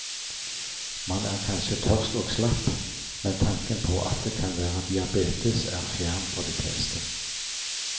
Man er kanskje tørst og slapp, men tanken på at det kan være diabetes er fjern for de fleste.